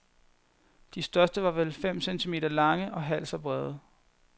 De største var vel fem centimeter lange og halvt så brede.